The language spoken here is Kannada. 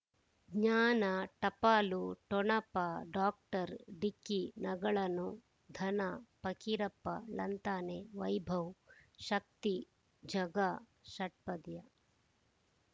ಜ್ಞಾನ ಟಪಾಲು ಠೊಣಪ ಡಾಕ್ಟರ್ ಢಿಕ್ಕಿ ಣಗಳನು ಧನ ಫಕೀರಪ್ಪ ಳಂತಾನೆ ವೈಭವ್ ಶಕ್ತಿ ಝಗಾ ಷಟ್ಪದಿಯ